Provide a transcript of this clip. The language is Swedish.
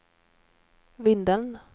Vindeln